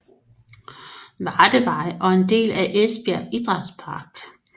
Vardevej og en del af Esbjerg Idrætspark